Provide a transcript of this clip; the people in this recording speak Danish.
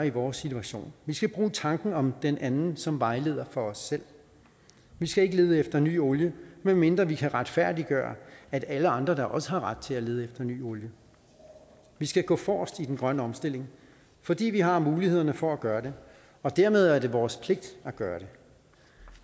i vores situation vi skal bruge tanken om den anden som vejleder for os selv vi skal ikke lede efter ny olie medmindre vi kan retfærdiggøre at alle andre da også har ret til at lede efter ny olie vi skal gå forrest i den grønne omstilling fordi vi har mulighederne for at gøre det og dermed er det vores pligt at gøre det